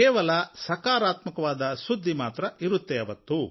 ಕೇವಲ ಸಕಾರಾತ್ಮಕ ಸುದ್ದಿ ಮಾತ್ರ ಇರುತ್ತೆ ಅವತ್ತು